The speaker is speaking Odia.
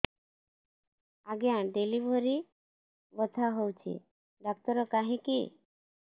ଆଜ୍ଞା ଡେଲିଭରି ବଥା ହଉଚି ଡାକ୍ତର କାହିଁ କି